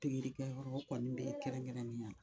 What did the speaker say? pikirikɛyɔrɔ kɔni bɛ yen kɛrɛnkɛrɛnnenya la